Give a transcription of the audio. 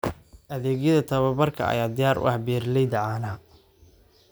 Adeegyada tababarka ayaa diyaar u ah beeralayda caanaha.